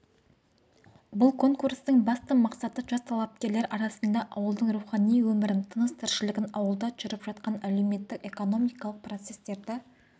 бұл конкурстың басты мақсаты жас талапкерлер арасында ауылдың рухани өмірін тыныс-тіршілігін ауылда жүріп жатқан әлеуметтік-экономикалық процесстерді